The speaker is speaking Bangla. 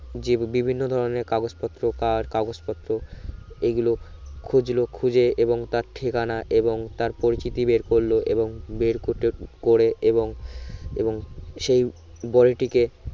জি বিভিন্ন ধরনের কাগজ পত্র কার কাগজ পত্র এই গুলো খুজলো খুজে এবং তার ঠিকানা এবং তার পরিচিতি বের করলো এবং বের কটে করে এবং এবং সেই গড়িটিকে